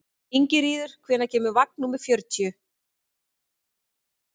Ingiríður, hvenær kemur vagn númer fjörutíu?